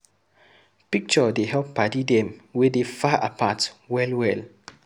Picture dey help paddy dem wey dey far apart well well.